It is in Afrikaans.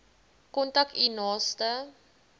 kontak u naaste